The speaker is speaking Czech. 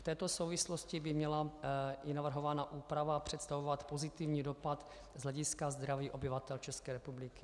V této souvislosti by měla i navrhovaná úprava představovat pozitivní dopad z hlediska zdraví obyvatel České republiky.